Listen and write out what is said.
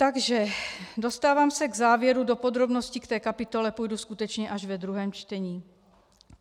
Takže - dostávám se k závěru, do podrobností v té kapitole půjdu skutečně až ve druhém čtení.